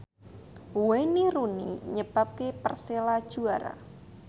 Wayne Rooney nyebabke Persela juara